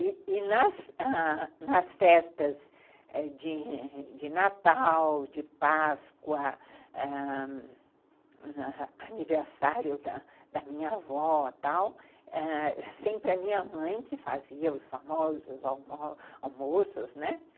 E nas nas festas de Natal, de Páscoa, ãh... aniversário da minha avó e tal, era sempre a minha mãe que fazia os famosos almo almoços, né?